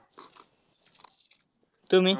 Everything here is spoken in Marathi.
तुम्ही?